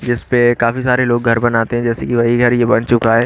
जिस पे काफी सारे लोग घर बनाते हैं जैसे कि वही घर ये बन चुका है।